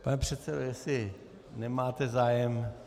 Pane předsedo, jestli nemáte zájem...